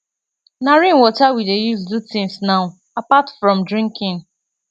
na rain water we dey use do things now apart from drinking